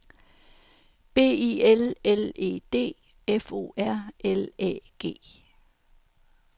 B I L L E D F O R L Æ G